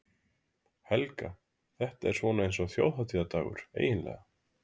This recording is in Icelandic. Helga: Þetta er svona eins og þjóðhátíðardagur, eiginlega?